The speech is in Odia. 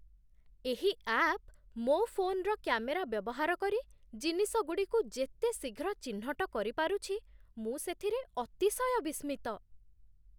ଏହି ଆପ୍ ମୋ ଫୋନ୍ର କ୍ୟାମେରା ବ୍ୟବହାର କରି ଜିନିଷଗୁଡ଼ିକୁ ଯେତେ ଶୀଘ୍ର ଚିହ୍ନଟ କରିପାରୁଛି, ମୁଁ ସେଥିରେ ଅତିଶୟ ବିସ୍ମିତ।